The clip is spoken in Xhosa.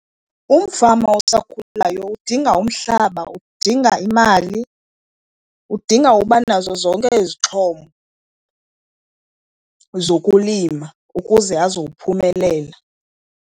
Umfama osakhulayo udinga umhlaba, udinga imali, udinga uba nazo zonke izixhobo zokulima ukuze azowuphumelela.